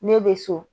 Ne bɛ so